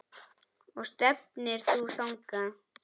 Og stefnir þú þangað?